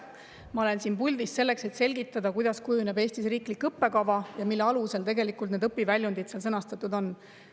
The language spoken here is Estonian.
Ma olen siin puldis selleks, et selgitada, kuidas kujuneb Eestis riiklik õppekava ja mille alusel need õpiväljundid seal sõnastatud on.